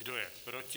Kdo je proti?